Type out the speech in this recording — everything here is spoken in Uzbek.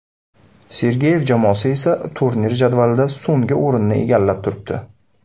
Sergeyev jamoasi esa turnir jadvalida so‘nggi o‘rinni egallab turibdi.